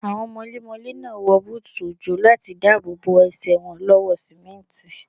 Àwọn mọlémọlé náà wọ búùtù òjò láti dáàbò bo Ẹsẹ̀ wọn lọ́wọ́ sìmẹ́ǹtì.